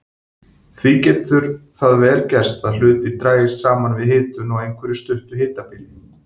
Því getur það vel gerst að hlutir dragist saman við hitun á einhverju stuttu hitabili.